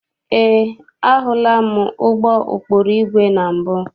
Eé, ahụla m ụgbọ ụkpụrụ igwe na mbụ.